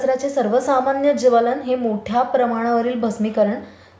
अच्छा, हा.